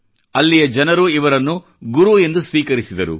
ಅಲ್ಲಿಯ ಜನರು ಇವರನ್ನು ಗುರು ಎಂದು ಸ್ವೀಕರಿಸಿದರು